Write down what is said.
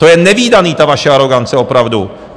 To je nevídané, ta vaše arogance, opravdu.